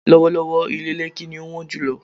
lọ́wọ́lọ́wọ́́, ilé Lẹ́kí ni ó wọ́n jùlọ.